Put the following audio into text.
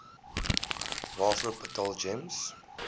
waarvoor betaal gems